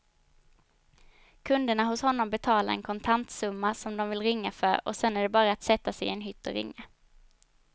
Kunderna hos honom betalar en kontantsumma som de vill ringa för och sedan är det bara att sätta sig i en hytt och ringa.